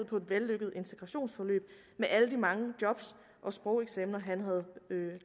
på et vellykket integrationsforløb med alle de mange job og sprogeksaminer han havde